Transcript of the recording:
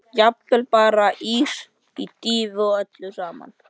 Jafnvel bara ís með dýfu og öllu saman.